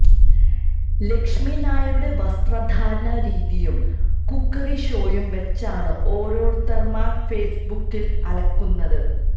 ലക്ഷ്മി നായരുടെ വസ്ത്ര ധാരണ രീതിയും കുക്കറി ഷോയും വെച്ചാണ് ഓരോരുത്തന്മാര് ഫെയ്സ്ബുക്കില് അലക്കുന്നത്